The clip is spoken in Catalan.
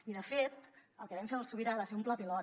i de fet el que vam fer al sobirà va ser un pla pilot